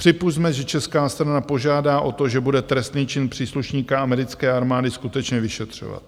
Připusťme, že česká strana požádá o to, že bude trestný čin příslušníka americké armády skutečně vyšetřovat.